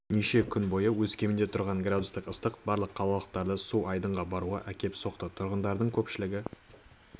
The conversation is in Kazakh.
неше күн бойы өскеменде тұрған градустық ыстық барлық қалалықтарды су айдынға баруға әкеп соқты тұрғындардың көпшілігі